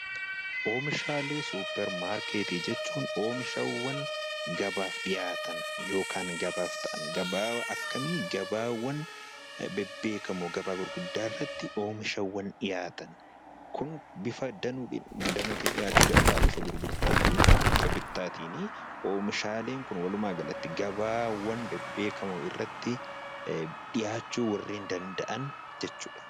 Oomishaalee suupermaarkeetti jechuun oomishaawwan gabaaf dhiyaatan gabaa akkamii gabaa bebbeekamoo gabaa gurguddaa oomishaawwan dhiyaatan bifa gurgurtaafi oomishaaleen Kun walumaagalatti gabaawwan gurguddaa jechuudha